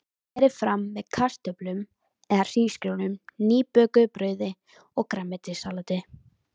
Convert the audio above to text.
Berið fram með kartöflum eða hrísgrjónum, nýbökuðu brauði og grænmetissalati.